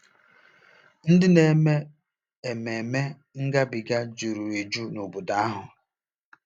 Ndị na-eme Ememme Ngabiga juru eju n'obodo ahụ.